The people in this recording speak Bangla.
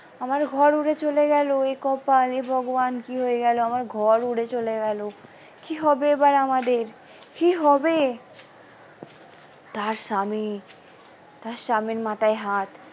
আমার ঘর উড়ে চলে গেল এ কপাল এ ভগবান কি হয়ে গেল আমার ঘর উড়ে চলে গেল কি হবে এবার আমাদের কি হবে তার স্বামী তার স্বামীর মাথায় হাত।